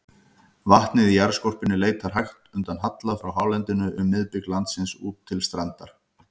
Vatnið í jarðskorpunni leitar hægt undan halla frá hálendinu um miðbik landsins út til strandar.